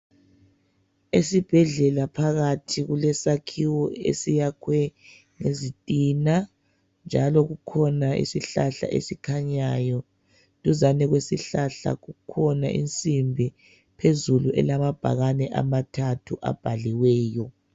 Esibhedlela phakathi kulesakhiwo esiyakhwe ngezitina njalo kukhona isihlahla esikhanyayo duzane lesihlahla kukhona insimbi phezulu elamabhakani amathathu abhaliweyo